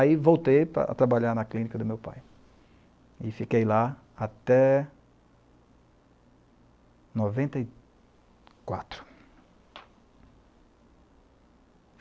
Aí voltei para trabalhar na clínica do meu pai e fiquei lá até noventa e quatro.